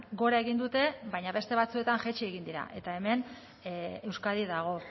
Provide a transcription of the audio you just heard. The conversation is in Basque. gora egin dute baina beste batzuetan jaitsi egin dira eta hemen euskadi dago